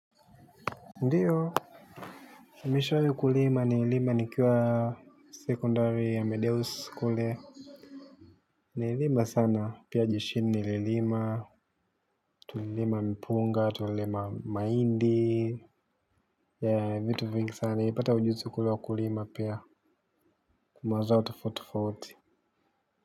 Ndiyo, nimeshawahi kulima nililima nikiwa secondary ya mideus kule. Nililima sana, pia jeshini nili lima, tulilima mpunga, tulilima mahindi. Ya vitu vingi sana, nilipata ujuzi kule wa kulima pia mazao tofauti tofauti.